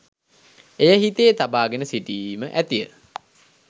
එය හිතේ තබා ගෙන සිටීම ඇතිය.